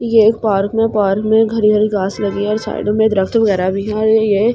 ये पार्क में पार्क में घर घर घास लगी है और साइड में वगैरह भी है और ये।